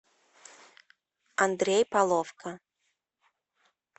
андрей половко